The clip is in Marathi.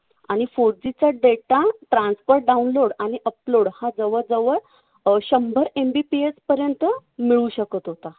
आणि four G चा data transfer download आणि upload हा जवळजवळ अं शंभर MBPS पर्यंत मिळू शकत होता.